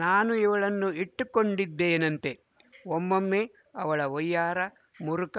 ನಾನು ಇವಳನ್ನು ಇಟ್ಟುಕೊಂಡಿದ್ದೇನಂತೆ ಒಮ್ಮೊಮ್ಮೆ ಅವಳ ವಯ್ಯಾರ ಮುರುಕ